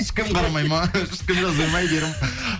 ешкім қарамайды ма ешкім жазбайда ма әйгерім